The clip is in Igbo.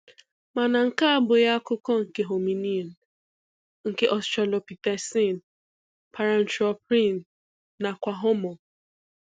Mana nke a abụghị akụkọ nke hominin, nke australopithecine, paranthropine nakwa Homo.